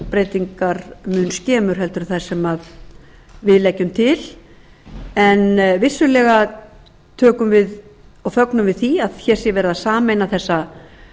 breytingar mun skemur en þær sem við leggjum til en vissulega fögnum við því að hér sé verið að sameina þessa